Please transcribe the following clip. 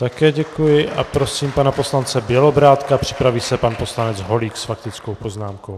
Také děkuji a prosím pana poslance Bělobrádka, připraví se pan poslanec Holík s faktickou poznámkou.